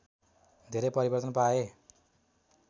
धेरै परिवर्तन पाए